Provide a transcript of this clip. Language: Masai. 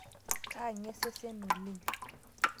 Kaange sesen oleng'